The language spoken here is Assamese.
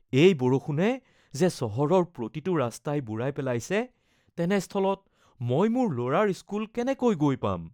এই বৰষুণে যে চহৰৰ প্ৰতিটো ৰাস্তাই বুৰাই পেলাইছে, তেনেস্থলত মই মোৰ ল’ৰাৰ স্কুল কেনেকৈ গৈ পাম?